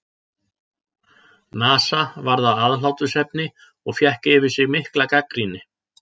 NASA varð að aðhlátursefni og fékk yfir sig mikla gagnrýni.